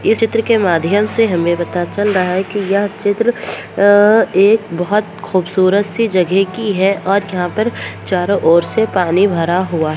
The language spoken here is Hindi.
ये चित्र के माध्यम से हमे पता चल रहा है कि यह चित्र अ एक बहुत खूबसूरत सी जगह की है और यहां पे चारो ओर से पानी भरा हुआ है।